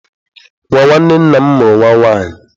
Nwa nwanne nna m mụrụ nwa nwaanyị.